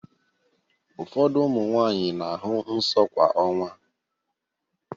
Ụfọdụ ụmụ nwaanyị na-ahụ nsọ kwa ọnwa.